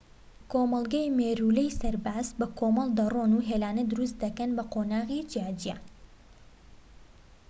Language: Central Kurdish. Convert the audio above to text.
کۆمەڵگەی مێرولەی سەرباز بەکۆمەڵ دەرۆن و هێلانە دروست دەکەن بە قۆناغی جیاجیا